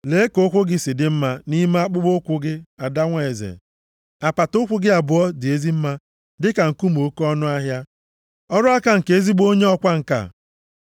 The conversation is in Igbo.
Lee ka ụkwụ gị si dị mma nʼime akpụkpọụkwụ gị ada nwa eze. Apata ụkwụ gị abụọ dị ezi mma dịka nkume oke ọnụahịa, ọrụ aka nke ezigbo onye ọkwa ǹka.